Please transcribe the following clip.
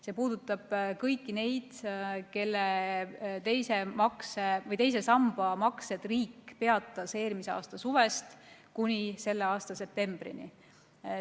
See puudutab kõiki neid, kelle teise samba maksed riik peatas eelmise aasta suvest kuni selle aasta septembrini.